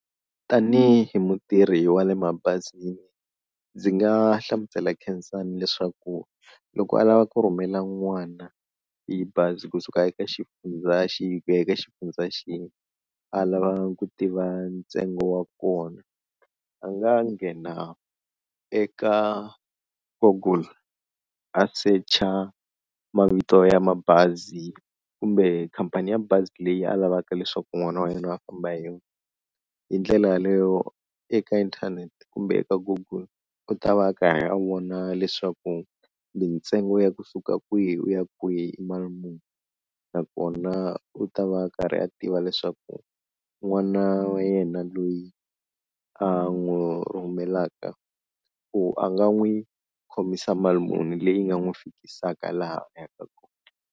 Tanihi mutirhi wa le mabazini ndzi nga hlamusela Khensani leswaku loko a lava ku rhumela n'wana hi bazi kusuka eka xifundza xihi ku ya eka xifundza xihi, a lava ku tiva ntsengo wa kona a nga nghena eka google a secha mavito ya mabazi kumbe khampani ya bazi leyi a lavaka leswaku n'wana wa yena a famba hi yona, hi ndlela yaleyo eka inthanete kumbe eka google u ta va a karhi a vona leswaku mintsengo ya kusuka kwihi u ya kwihi i mali muni, nakona u ta va a karhi a tiva leswaku n'wana wa yena loyi a n'wu rhumelaka ku a nga n'wi khomisa mali muni leyi nga n'wi fikisaka laha a yaka kona.